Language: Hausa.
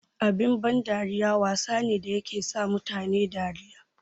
Abun ban dariya wasa ne da yake sa mutane dariya.